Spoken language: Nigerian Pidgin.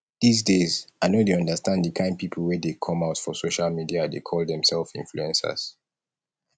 dis days i no dey understand the kyn people wey dey come out for social media dey call themselves influencers